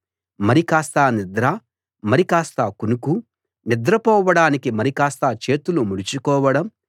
మరికాస్త నిద్ర మరికాస్త కునుకు నిద్ర పోవడానికి మరికాస్త చేతులు ముడుచు కోవడం